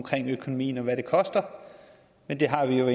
økonomien om hvad det koster men det har vi jo